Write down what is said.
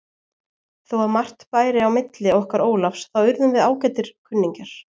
Þó að margt bæri á milli okkar Ólafs þá urðum við ágætir kunningjar.